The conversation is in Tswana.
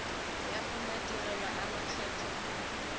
ya go madirelo a makgetho